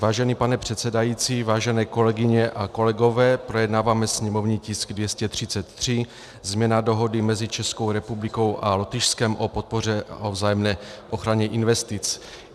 Vážený pane předsedající, vážené kolegyně a kolegové, projednáváme sněmovní tisk 233, změna dohody mezi Českou republikou a Lotyšskem o podpoře a vzájemné ochraně investic.